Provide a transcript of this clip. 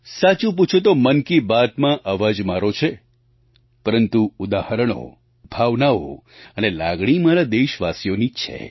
સાચું પૂછો તો મન કી બાતમાં અવાજ મારો છે પરંતુ ઉદાહરણો ભાવનાઓ અને લાગણી મારા દેશવાસીઓની જ છે